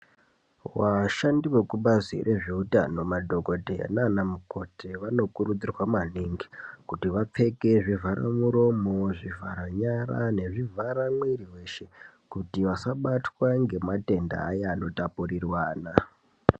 Vashandi vekubazi rezveutano madhokodheya naana mukoti vanokurudzirwa maningi kuti vapfeke zvivharamuromo zvivharanyara nezvivhara mwiriweshe kuti vasabatwa ngematenda aya anotapurirwana .